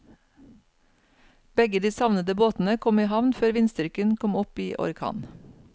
Begge de savnede båtene kom i havn før vindstyrken kom opp i orkan.